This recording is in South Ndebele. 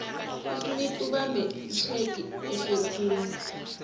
usmith ubambe itjhegi ehlekhulu